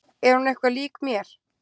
Er hún eitthvað lík mér?